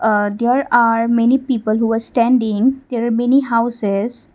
a there are many people who are standing there are many houses.